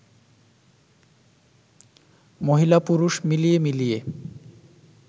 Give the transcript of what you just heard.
মহিলা-পুরুষ মিলিয়ে মিলিয়ে